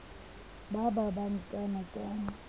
ba ba ba nkana ka